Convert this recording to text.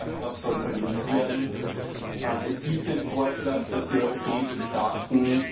Das Camp Ashraf soll verlegt werden. Es gibt den Vorschlag, dass die europäischen Staaten